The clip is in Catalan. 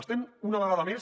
estem una vegada més